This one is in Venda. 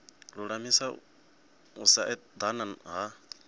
lulamisa u sa edana ha